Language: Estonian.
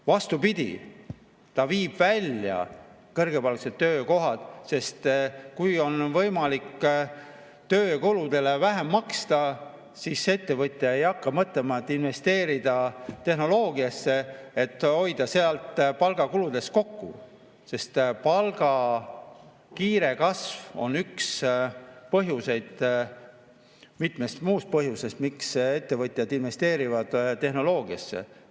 Vastupidi, see viib kõrgepalgalised töökohad välja, sest kui on võimalik töökulusid vähem maksta, siis ettevõtja ei hakka mõtlema tehnoloogiasse investeerimisele, et hoida sealt palgakuludes kokku, sest palga kiire kasv on üks mitmest muust põhjusest, miks ettevõtjad investeerivad tehnoloogiasse.